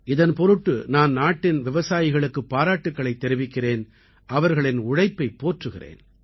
இதன் பொருட்டு நான் நாட்டின் விவசாயிகளுக்குப் பாராட்டுக்களைத் தெரிவிக்கிறேன் அவர்களின் உழைப்பைப் போற்றுகிறேன்